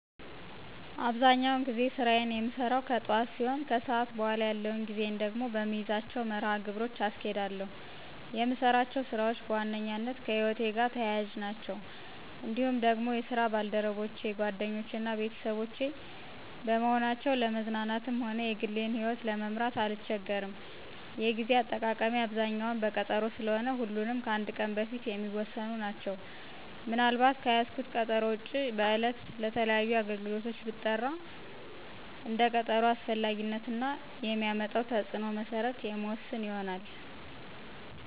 አብዛኛውን ጊዜ ስራየን የምሰራው ከጥዋት ሲሆን ከሰዓት በኋላ ያለውን ጊዜየን ደግሞ በምይዛቸው መርሀ ግብሮች አስኬዳለሁ። የምሰራቸው ስራዎች በዋነኛነት ከህይወቴ ጋር ተያያዥ ናቸው። እንዲሁም ደግሞ የስራ ባልደረቦቼ ጓደኞቼ እና ቤተሰቦቼ በመሆናቸው ለመዝናናትም ሆነ የግሌን ይህወት ለመምራት አልቸገርም። የጌዜ አጠቃቀሜ አብዛኛው በቀጠሮ ስለሆነ ሁሉም ከአንድ ቀን በፊት የሚወሰኑ ናቸው። ምን አልባት ከያዝኩት ቀጠሮ ውጭ በዕለት ለተለያዩ አገልግሎት ብጠራ እንደ ቀጠሮው አስፈላጊነት እና የሚያመጣው ተፅዕኖ መሰረት የምወስን ይሆናል።